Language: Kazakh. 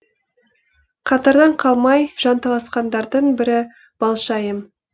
қатардан қалмай жанталасқандардың бірі балшайым